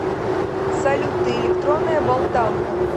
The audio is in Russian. салют ты электронная болталка